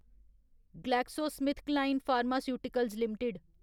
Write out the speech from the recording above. GlaxoSmithKline pharmaceuticals limited